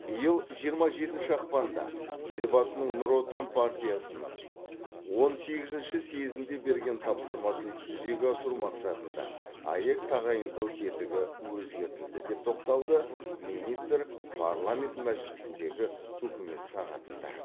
биыл жиырма жетінші ақпанда елбасының нұр отан партиясының он сегізінші съезінде берген тапсырмасын жүзеге асыру мақсатында аәк тағайындау тетігі өзгертілді деп тоқталды министр парламент мәжілісіндегі үкімет сағатында